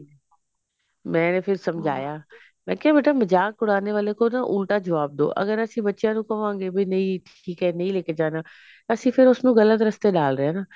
ਮੈਨੇ ਫਿਰ ਸਮਝਾਇਆ ਮੈਂ ਕਿਹਾ ਬੇਟਾ ਮਜ਼ਾਕ ਬਨਾਨੇ ਵਾਲੇ ਕੋ ਨਾ ਉਲਟਾ ਜਵਾਬ ਦੋ ਅਗਰ ਅਸੀਂ ਬੱਚਿਆ ਨੂੰ ਕਵਾਂਗੇ ਵੀ ਨਹੀਂ ਠੀਕ ਹੈ ਨਹੀਂ ਲੇਕੇ ਜਾਣਾ ਅਸੀਂ ਫੇਰ ਉਸਨੂੰ ਗਲਤ ਰਸਤੇ ਡਾਲ ਰਹੇ ਹਾਂ ਨਾ